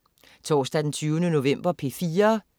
Torsdag den 20. november - P4: